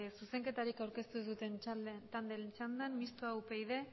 zuzenketarik aurkeztu ez duten taldeen txandan mistoa upyd